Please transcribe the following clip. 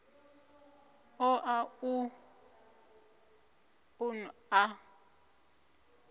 ṱo ḓa u ṱun ḓa